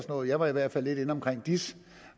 noget jeg var i hvert fald lidt inde omkring dis